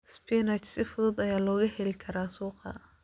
Spinach si fudud ayaa looga heli karaa suuqa.